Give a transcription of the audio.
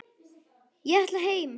Ég ætla heim!